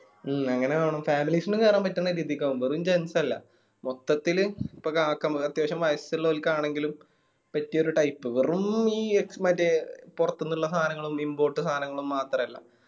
മ്മ് അങ്ങനെ ആവണം families ന് കേറാൻ പറ്റുന്ന രീതിക്ക് ആവണം വെറും gents അല്ല, മൊത്തത്തില് ഇപ്പോ കാക്കമാർ അത്യാവശ്യം വയസ്സുള്ള ഓൽക്കാണെങ്കിലും പറ്റിയ ഒരു type വെറും ഈ എക്സ് മറ്റേ പൊറത്തിനുള്ള സാനങ്ങളും import സാനങ്ങളും മാത്രല്ല.